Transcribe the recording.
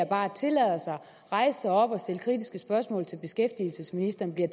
bare tillader sig at rejse sig op og stille kritiske spørgsmål til beskæftigelsesministeren bliver